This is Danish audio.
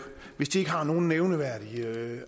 hvis de ikke har nogen nævneværdig